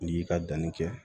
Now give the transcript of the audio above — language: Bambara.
N'i y'i ka danni kɛ